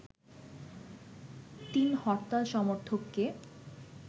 ৩ হরতাল সমর্থককে